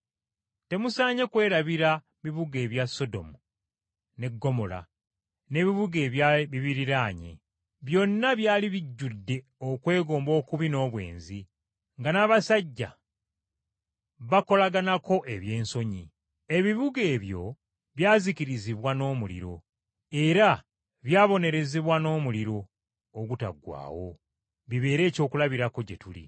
Temusaanye kwerabira bibuga ebya Sodomu ne Ggomola n’ebibuga ebyali bibiriraanye. Byonna byali bijjudde kwegomba okubi n’obwenzi, nga n’abasajja bakolaganako eby’ensonyi. Ebibuga ebyo byazikirizibwa n’omuliro, era byabonerezebwa n’omuliro ogutaggwaawo bibeere ekyokulabirako gye tuli.